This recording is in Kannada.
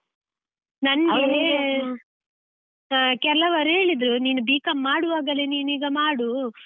ನನ್ಗೆ ಆ ಕೆಲವರು ಹೇಳಿದ್ರು ನೀನು B.Com ಮಾಡುವಾಗಲೇ ನೀನು ಈಗ ಮಾಡು.